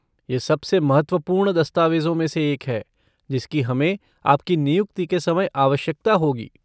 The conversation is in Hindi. यह सबसे महत्वपूर्ण दस्तावेजों में से एक है जिसकी हमें आपकी नियुक्ति के समय आवश्यकता होगी।